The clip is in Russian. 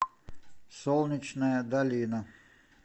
солнечная долина